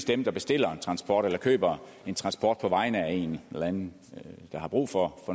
dem der bestiller en transport eller køber en transport på vegne af en eller anden der har brug for